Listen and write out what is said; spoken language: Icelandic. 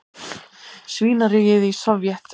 svínaríið í Sovét.